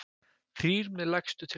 Þrír með lægstu tilboð